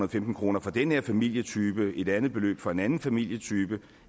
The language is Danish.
og femten kroner for den her familietype er et andet beløb for en anden familietype